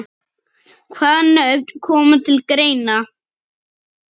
Hvaða nöfn koma til greina?